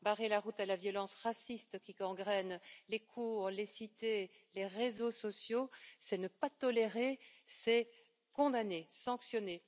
Barrer la route à la violence raciste qui gangrène les cours, les cités, les réseaux sociaux, c'est ne pas tolérer, c'est condamner, sanctionner.